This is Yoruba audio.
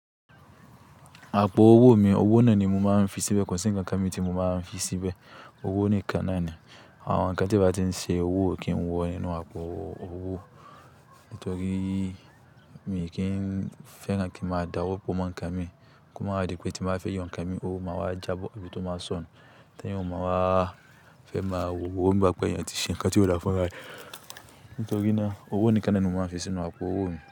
Àpò owó mi, owó náà ni mo máa ń fi síbẹ̀, kò sì ń kan nǹkan mi tí mo máa ń fi síbẹ̀. Owó nìkan náà ni, àwọn ǹkan tí a bá ti ń ṣe owó kí ń wọ nínú àpò owó. Nítorí mi kì n fẹ́ran kí n màá dáwọ́ pò mọ́ ǹkan mi, kí wọ́n máa rí pé tí màá fẹ́ yàn ǹkan mi, owó máa wá já bó bí tó máa sọnù. Tẹ́ kí wọ́n máa fẹ́ máa wò ó bí i pé yẹn ti ṣe ǹkan tí ó dá fún ra ẹ Nítorí náà owó nìkan náà ni mo máa ń fi sínú àpò owó mi.